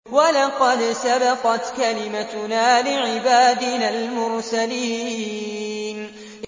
وَلَقَدْ سَبَقَتْ كَلِمَتُنَا لِعِبَادِنَا الْمُرْسَلِينَ